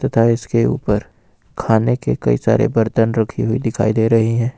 तथा इसके ऊपर खाने के कई सारे बर्तन रखी हुई दिखाई दे रहे हैं।